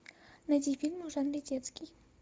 найди фильмы в жанре детский